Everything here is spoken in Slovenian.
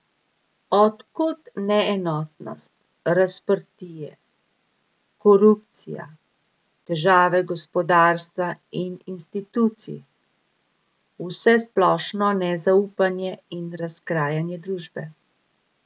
Od kod neenotnost, razprtije, korupcija, težave gospodarstva in institucij, vsesplošno nezaupanje in razkrajanje družbe?